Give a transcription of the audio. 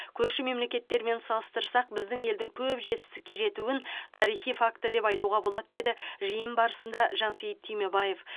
көрші мемлекеттермен салыстырсақ біздің елдің көп жетістікке жетуін тарихи факт деп айтуға болады деді жиын барысында жансейіт түймебаев